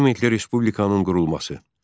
Parlamentli Respublikanın qurulması.